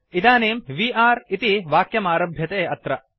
इदानीं वे अरे इति वाक्यमारभ्यते अत्र